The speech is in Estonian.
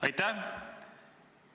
Aitäh!